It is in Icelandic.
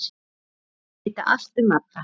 Vildi vita allt um alla.